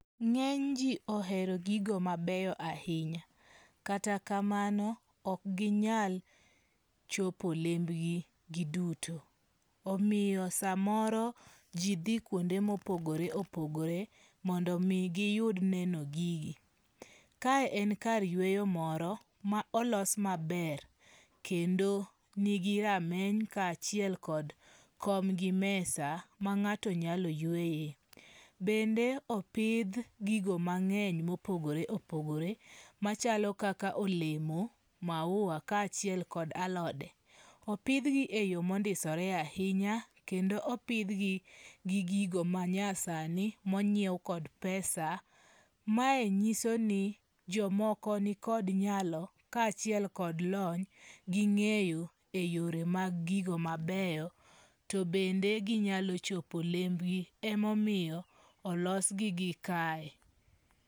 Ng'eny ji ohero gigo mabeyo ahinya. Kata kamano ok ginyal chopo lembgi gi duto. Omiyo samoro ji dhi kuonde mopogore opogore mondo mi giyud neno gigi. Kae en kar yweyo moro ma olos maber. Kendo nigi rameny ka achiel kod kom gi mesa ma ng'ato nyalo yweyoe. Bende opidh gigo mang'eny mopogore opogore machalo kaka olemo, maua ka achiel kod alode. Opidhgi e yo mondisore ahinya. Kendo opidhgi gi gigo manyasani mony'iew kod pesa. Ma nyiso ni jomoko nikod nyalo kachiel kod lony ging'eyo e yore mag gigo mabeyo. To bende ginyalo chopo lembgi. Emomiyo olosgi gi kae.